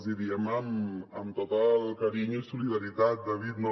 els hi diem amb tot el carinyo i solidaritat david no